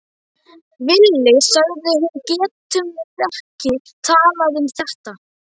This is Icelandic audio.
Villi, sagði hún, getum við ekki talað um þetta?